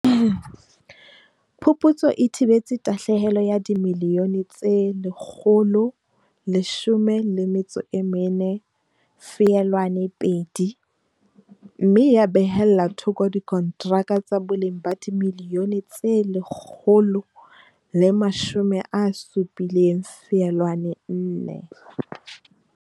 Phuputso e thibetse tahlehelo ya dimiliyone tse R114.2, mme ya behella thoko dikontraka tsa boleng ba dimiliyone tse R170.4.